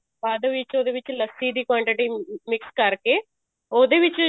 ਬਾਅਦ ਵਿੱਚ ਉਹਦੇ ਵਿੱਚ ਲੱਸੀ ਦੀ quantity mix ਕਰਕੇ ਉਹਦੇ ਵਿੱਚ